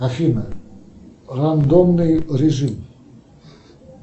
афина рандомный режим